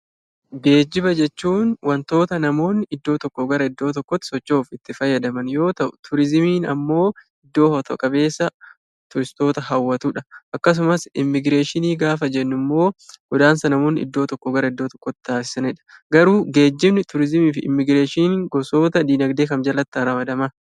Geejiba jechuun waantota namoonni iddoo tokko irraa gara iddoo tokkotti socho'uuf itti fayyadaman yoo ta'u, turizimiin immoo iddoo hawwata qabeessa turistoota hawwatudha. Akkasumas immoo immigireeshinii gaafa jennu immoo godaansa namoonni iddoo tokko gara iddoo tokkotti taasisanidha. Garuu geejibni, turizimii fi immigireeshiniin gosoota dinagdee kam jalatti haa ramadaman?